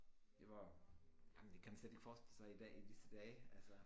Det var jamen det kan man slet ikke forestille sig i dag i disse dage altså